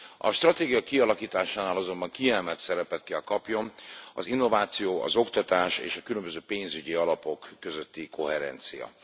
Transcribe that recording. A stratégia kialakításánál azonban kiemelt szerepet kell kapjon az innováció, az oktatás és a különböző pénzügyi alapok közötti koherencia.